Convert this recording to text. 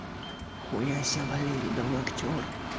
хуясе валерий да вы актёр